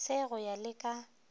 se go ya le ka